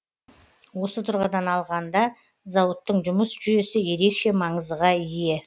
осы тұрғыдан алғанда зауыттың жұмыс жүйесі ерекше маңызға ие